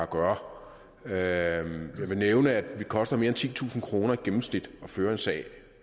gøre det jeg vil nævne at det koster mere end titusind kroner i gennemsnit at føre en sag